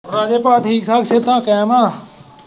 ਰਾਜੂ ਭਾ ਸਿਹਤਾਂ ਠੀਕ ਠਾਕ ਕਾਇਮ ਆ।